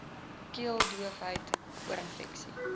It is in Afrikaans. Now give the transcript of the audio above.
keel doofheid oorinfeksies